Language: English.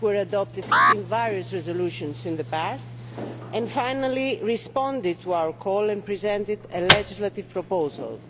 adopted in various resolutions in the past, and finally responded to our call and presented a legislative proposal.